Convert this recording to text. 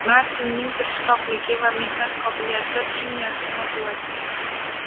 Martinning tirishqoqligi va mehnat qobiliyati – eng yaxshi motivatsiya.